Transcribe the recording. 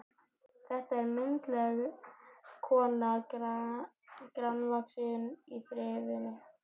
Þetta er myndarleg kona, grannvaxin og þrifin.